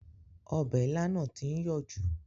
Ọbẹ̀ ilá náà tí ń yọ̀ jù